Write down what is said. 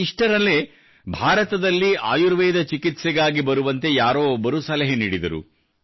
ಇಷ್ಟರಲ್ಲೇ ಭಾರತದಲ್ಲಿ ಆಯುರ್ವೇದ ಚಿಕಿತ್ಸೆಗಾಗಿ ಬರುವಂತೆ ಯಾರೋ ಒಬ್ಬರು ಸಲಹೆ ನೀಡಿದರು